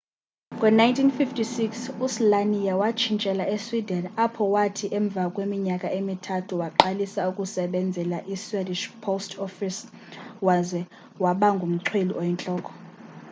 ngo 1956 u slania watshintshela e sweden apho wathi emva kweminyaka emithathu waqalisa ukusebenzela i swedishh post office waze waba ngumchweli oyintloko